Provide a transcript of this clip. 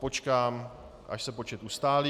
Počkám, až se počet ustálí.